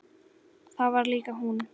Það var líka hún.